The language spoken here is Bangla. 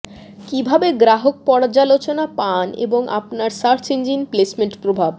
কিভাবে গ্রাহক পর্যালোচনা পান এবং আপনার সার্চ ইঞ্জিন প্লেসমেন্ট প্রভাব